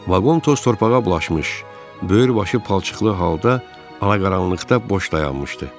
Vaqon toz-torpağa bulaşmış, böyür başı palçıqlı halda ala qaranlıqda boş dayanmışdı.